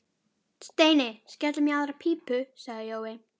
Steini, skellum í aðra pípu sagði Jói.